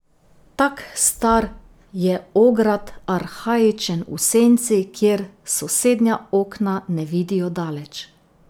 Tak star je ograd, arhaičen v senci, kjer sosednja okna ne vidijo daleč.